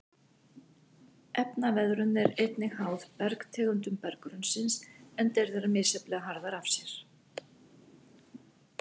Efnaveðrun er einnig háð bergtegundum berggrunnsins enda eru þær misjafnlega harðar af sér.